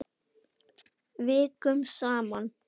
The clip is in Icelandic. Vikum saman.